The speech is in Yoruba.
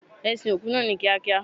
E sin òkú naa ni Kia kia